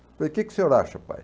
Eu falei, o que que senhor acha, pai?